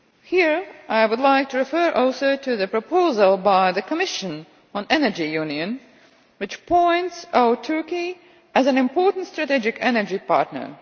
Here, I would like to refer also to the proposal by the Commission on energy union, which points to Turkey as an important strategic energy partner.